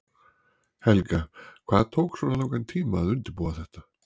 Helga: Hvað tók svona langan tíma að undirbúa þetta?